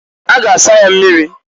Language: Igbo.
A ga asa ya mmirir.